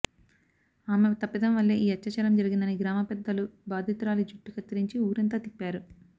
ఆమె తప్పిదం వల్లే ఈ అత్యాచారం జరిగిందని గ్రామ పెద్దలు బాధితురాలి జుట్టు కత్తిరించి ఊరంతా తిప్పారు